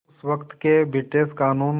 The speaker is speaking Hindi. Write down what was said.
उस वक़्त के ब्रिटिश क़ानून